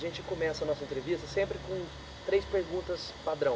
A gente começa a nossa entrevista sempre com três perguntas padrão.